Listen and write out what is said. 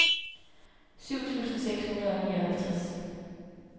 syv tusind seks hundrede og nioghalvtreds